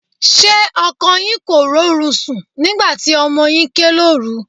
Ṣé ọkọ yín kò rórun sùn nígbà tí ọmọ yín ké lóru?